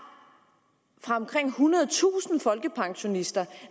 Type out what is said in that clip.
fra omkring ethundredetusind folkepensionister